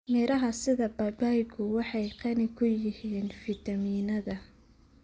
Miraha sida babaygu waxay qani ku yihiin fiitamiinnada.